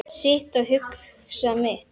Sit og hugsa mitt.